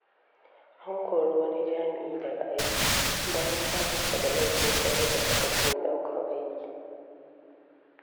An kori wani jami'i daga aiki, bayan samunsa da laifin sayar da takardun ɗaukar aiki.